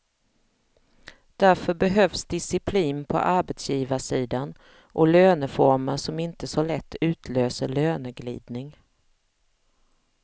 Därför behövs disciplin på arbetsgivarsidan och löneformer som inte så lätt utlöser löneglidning.